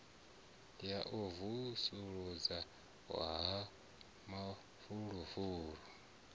ya u vusuludza ha mafulufulu